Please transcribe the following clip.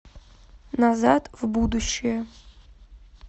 назад в будущее